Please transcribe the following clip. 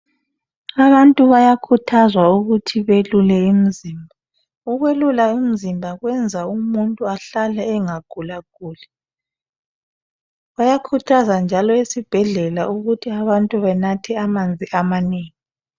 Abantu bayakhuthazwa ukuthi belule imizimba, ukwelula umzimba kwenza umuntu ahlale engagula guli bayakhuthaza njalo esibhedlela ukuthi abantu benathe amanzi amanengi.